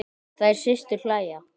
Þær systur hlæja.